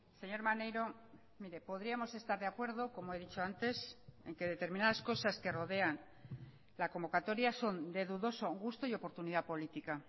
señor maneiro mire podríamos estar de acuerdo como he dicho antes en que determinadas cosas que rodean la convocatoria son de dudoso gusto y oportunidad política